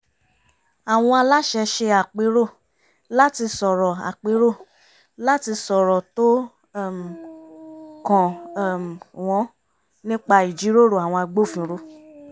àwọn aláṣẹ ṣe àpérò láti sọ̀rọ̀ àpérò láti sọ̀rọ̀ tó um kàn um wọ́n nípa ìjíròrò àwọn agbófinró